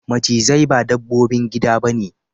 Macizai ba dabbobin gida ba ne.